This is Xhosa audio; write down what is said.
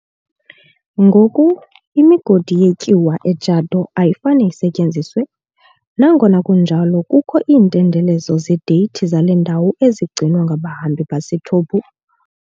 Ngoku, imigodi yetyuwa e-Djado ayifane isetyenziswe, nangona kunjalo kukho iintendelezo zedate zale ndawo ezigcinwa ngabahambi baseToubou.